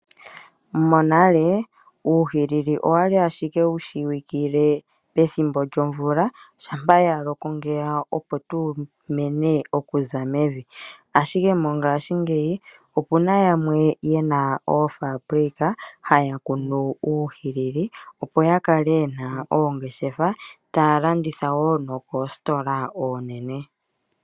Monale, uuhilili owa li ashike wu shiwikile pethimbo lyomvula, shampa ya loko ngeya, opo tawu mene okuza mevi. Ashike mongashingeyi, oku na yamwe ye na oofambulika, haya kunu uuhilili, opo ya kale ye na oongeshefa, taya landitha wo nokoositola oonene.